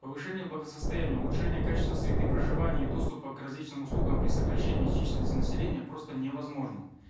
повышение благосостояния улучшение качества среды проживания и доступа к различным услугам при сокращении численности населения просто невозможно